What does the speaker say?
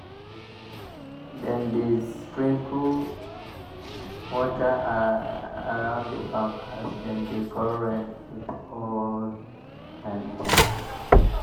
dem dey sprinkle water round the farm as dem dey call rain with old-time chant.